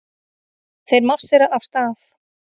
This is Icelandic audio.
Þeir marsera af stað.